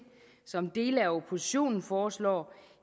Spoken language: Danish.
som dele af oppositionen foreslår